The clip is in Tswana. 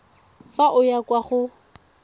fa o ya kwa go